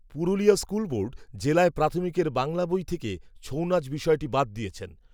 Purulia school board জেলায় প্রাথমিকের বাংলা বই থেকে ছৌনাচ বিষয়টি বাদ দিয়েছেন